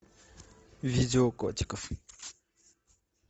видео котиков